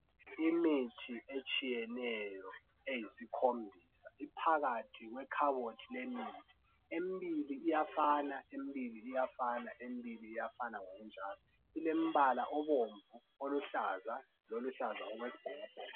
Imithi etshiyeneyo eyisikhombisa iphakathi kwekhabothi lemithi. Embili iyafana, embili iyafana, embili iyafana ngokunjalo. Kulombala obomvu, oluhlaza, loluhlaza okwesbhakabhaka.